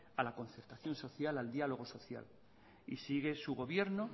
a la concertación social al diálogo social y sigue su gobierno